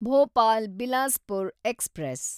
Bhopal Bilaspur express